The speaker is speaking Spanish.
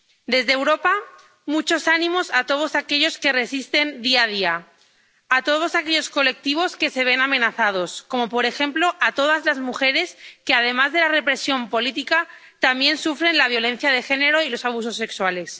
Desde Europa, muchos ánimos a todos aquellos que resisten día a día, a todos aquellos colectivos que se ven amenazados, como, por ejemplo, todas las mujeres que, además de la represión política, también sufren la violencia de género y los abusos sexuales.